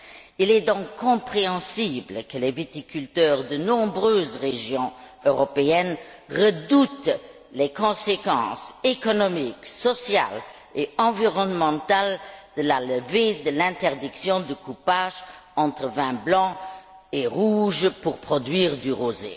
Il est compréhensible que les viticulteurs de nombreuses régions européennes redoutent les conséquences économiques, sociales et environnementales de la levée de l'interdiction du coupage entre vins blanc et rouge pratiqué pour produire du rosé.